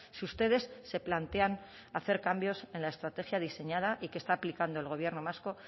si ustedes se plantean hacer cambios en la estrategia diseñada y que está aplicando el gobierno vasco